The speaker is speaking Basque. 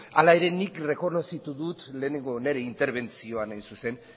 hala ere nik errekonozitu dut lehenengo nire interbentzioan hain zuzen